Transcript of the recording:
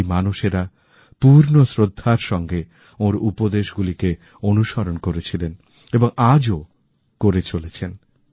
সেই মানুষেরা পূর্ণ শ্রদ্ধার সাথে ওঁর উপদেশগুলিকেঅনুসরণ করেছিলেন এবং আজও করে চলেছেন